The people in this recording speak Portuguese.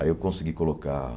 Aí eu consegui colocar...